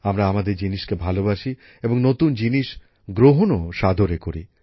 আমরা আমাদের সবকিছু ভালবাসি এবং নতুন কিছুও সাদরে গ্রহণ করি